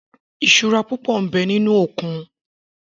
Isúrà púpò n bè ninú ókún